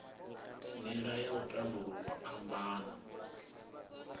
nila ya u tandululwa phambano